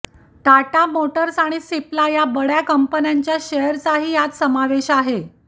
Tata Motors आणि सिप्ला या बडय़ा कंपन्यांच्या शेअरचाही यात समावेश आहे